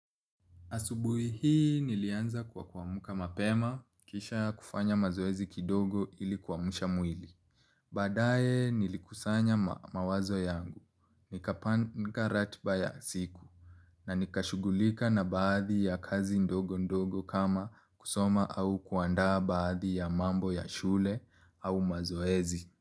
Asubui hii nilianza kwa kuamka mapema, kisha kufanya mazoezi kidogo ili kuamusha mwili. Baadaye nilikusanya mawazo yangu, nikapanga ratiba ya siku, na nikashugulika na baadhi ya kazi ndogo ndogo kama kusoma au kuandaa baadhi ya mambo ya shule au mazoezi.